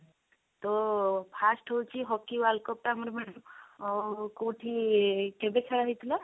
ତ first ହଉଛି hockey world cup ଟା ଆମର ଅ କଉଠି କେବେ ଖେଳା ହେଇଥିଲା?